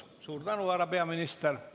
Suur tänu, härra peaminister!